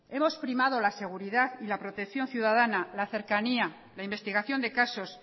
hemos primado la seguridad y la protección ciudadana la cercanía la investigación de casos